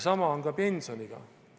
Sama on ka pensioniga.